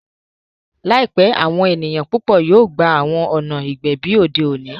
Laipẹ, awọn eniyan pupọ yoo gba awọn ọna igbẹbi ode oni.